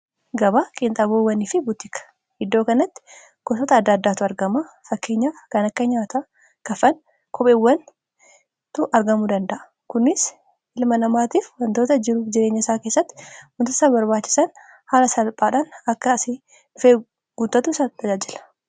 gaba qiinxaboewwanii fi buutika iddoo kanatti gotota adda addaatu argama fakkeenya kan akka nyaatua kafan kopheewwan tu argamu danda'a kunis ilma namaatiif wantoota jiruuf jireenya isaa keessatti mutasa barbaachisan haala salphaadhaan akka asii dhifee guutatu isaa tajajila